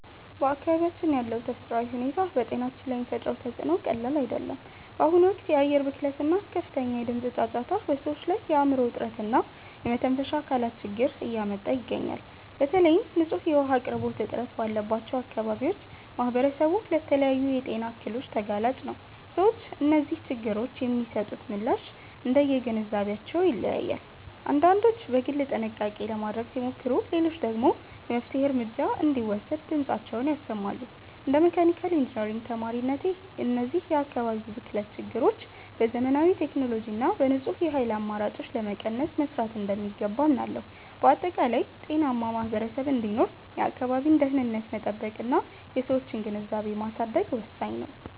በአካባቢያችን ያለው ተፈጥሯዊ ሁኔታ በጤናችን ላይ የሚፈጥረው ተፅዕኖ ቀላል አይደለም። በአሁኑ ወቅት የአየር ብክለት እና ከፍተኛ የድምፅ ጫጫታ በሰዎች ላይ የአእምሮ ውጥረት እና የመተንፈሻ አካላት ችግር እያመጣ ይገኛል። በተለይም ንጹህ የውኃ አቅርቦት እጥረት ባለባቸው አካባቢዎች ማኅበረሰቡ ለተለያዩ የጤና እክሎች ተጋላጭ ነው። ሰዎች ለእነዚህ ችግሮች የሚሰጡት ምላሽ እንደየግንዛቤያቸው ይለያያል፤ አንዳንዶች በግል ጥንቃቄ ለማድረግ ሲሞክሩ፣ ሌሎች ደግሞ የመፍትሔ እርምጃ እንዲወሰድ ድምፃቸውን ያሰማሉ። እንደ መካኒካል ኢንጂነሪንግ ተማሪነቴ፣ እነዚህን የአካባቢ ብክለት ችግሮች በዘመናዊ ቴክኖሎጂ እና በንጹህ የኃይል አማራጮች ለመቀነስ መሥራት እንደሚገባ አምናለሁ። በአጠቃላይ፣ ጤናማ ማኅበረሰብ እንዲኖር የአካባቢን ደኅንነት መጠበቅና የሰዎችን ግንዛቤ ማሳደግ ወሳኝ ነው።